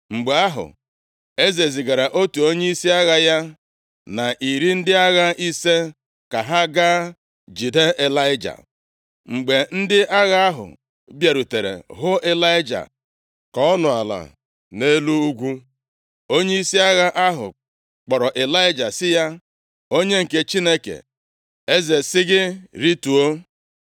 Mgbe ahụ, eze zigara otu onyeisi agha ya, na iri ndị agha ise ka ha gaa jide Ịlaịja. Mgbe ndị agha ahụ bịarutere hụ Ịlaịja ka ọ nọ ala nʼelu ugwu, onyeisi agha ahụ kpọrọ Ịlaịja sị ya, “Onye nke Chineke, eze sị gị, ‘rituo!’ ”